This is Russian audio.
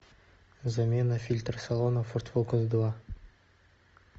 замена фильтра салона форд фокус два